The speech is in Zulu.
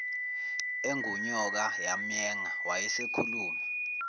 engunyoka yamyenga wayesekhuluma